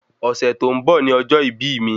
Ọ̀sẹ̀ tó ń bọ̀ ni ọjọ́ ìbí ì mi